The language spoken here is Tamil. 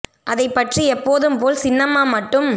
அதைப் பற்றி எப்போதும் போல் சின்னம்மா மட்டும்